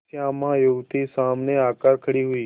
एक श्यामा युवती सामने आकर खड़ी हुई